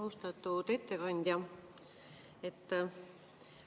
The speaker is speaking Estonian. Austatud ettekandja!